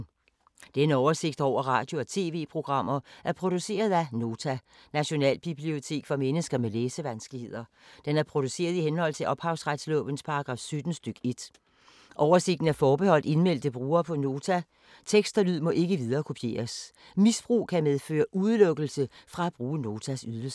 Denne oversigt over radio og TV-programmer er produceret af Nota, Nationalbibliotek for mennesker med læsevanskeligheder. Den er produceret i henhold til ophavsretslovens paragraf 17 stk. 1. Oversigten er forbeholdt indmeldte brugere på Nota. Tekst og lyd må ikke viderekopieres. Misbrug kan medføre udelukkelse fra at bruge Notas ydelser.